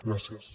gràcies